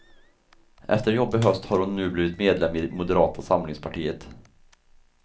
Efter en jobbig höst har hon nu blivit medlem i moderata samlingspartiet.